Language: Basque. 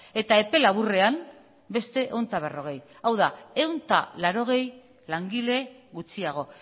eta epe laburrean beste ehun eta berrogei hau da ehun eta laurogei langile gutxiago